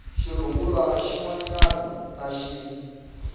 xirungulwana xin wana na xin